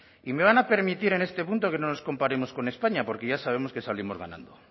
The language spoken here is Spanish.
y me van a permitir en este punto que no nos comparemos con españa porque ya sabemos que salimos ganando